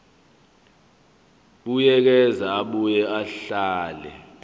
buyekeza abuye ahlele